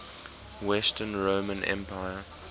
western roman empire